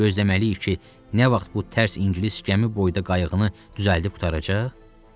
Gözləməliyik ki, nə vaxt bu tərs ingilis gəmi boyda qayıqını düzəldib qurtaracaq?